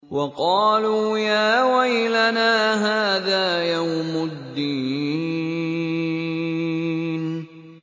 وَقَالُوا يَا وَيْلَنَا هَٰذَا يَوْمُ الدِّينِ